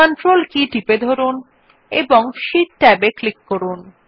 control কীটি টিপে ধরুন এবং শীট ট্যাবে ক্লিক করুন